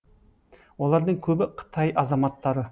олардың көбі қытай азаматтары